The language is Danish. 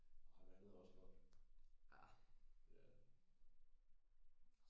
Ah vandet er også koldt det er det